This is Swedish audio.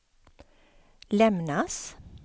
lämnas